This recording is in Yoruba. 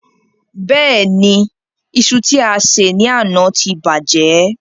Bẹ́ẹ̀ni, iṣu tí a sè ní àná ti bàjẹ́.